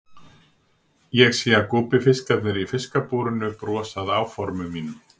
Ég sé að gúbbífiskarnir í fiskabúrinu brosa að áformum mínum.